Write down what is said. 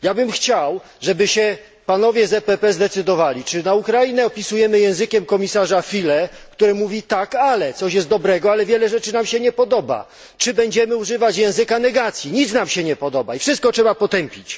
Chciałbym, żeby panowie z PPE zdecydowali się, czy Ukrainę opisujemy językiem komisarza Füle, który mówi tak, ale coś jest dobrego, ale wiele rzeczy nam się nie podoba, czy będziemy używać języka negacji nic nam się nie podoba i wszystko trzeba potępić?!